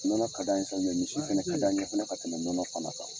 Nɔnɔ ka di an ye sa misi fana ka d'an ye fana ka tɛmɛ nɔnɔ fana kan.